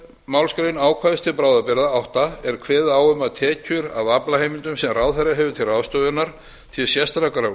málsgrein ákvæðis til bráðabirgða átta er kveðið á um að tekjur af aflaheimildum sem ráðherra hefur til ráðstöfunar til sérstakrar